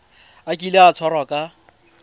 a kile a tshwarwa ka